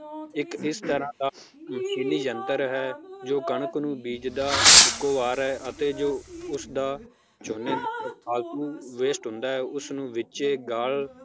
ਇਕ ਇਸ ਤਰਾਹ ਦਾ ਮਸ਼ੀਨੀ ਯੰਤਰ ਹੈ ਜੋ ਕਣਕ ਨੂੰ ਬੀਜਦਾ ਇੱਕੋ ਵਾਰ ਹੈ ਅਤੇ ਜੋ ਉਸ ਦਾ ਝੋਨੇ~ ਫਾਲਤੂ waste ਹੁੰਦਾ ਹੈ ਉਸਨੂੰ ਵਿਚੇ ਗਾਲ